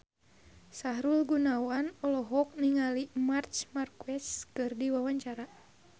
Sahrul Gunawan olohok ningali Marc Marquez keur diwawancara